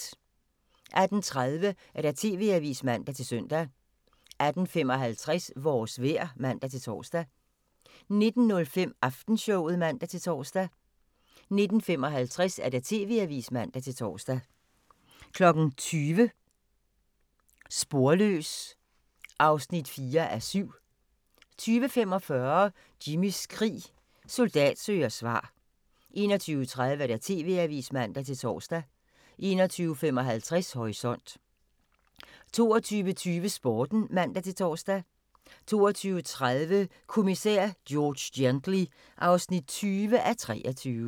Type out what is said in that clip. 18:30: TV-avisen (man-søn) 18:55: Vores vejr (man-tor) 19:05: Aftenshowet (man-tor) 19:55: TV-avisen (man-tor) 20:00: Sporløs (4:7) 20:45: Jimmys krig – soldat søger svar 21:30: TV-avisen (man-tor) 21:55: Horisont 22:20: Sporten (man-tor) 22:30: Kommissær George Gently (20:23)